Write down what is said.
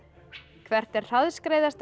hvert er hraðskreiðasta